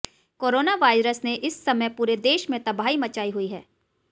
corona virus ने इस समय पूरे देश में तबाही मचाई हुई है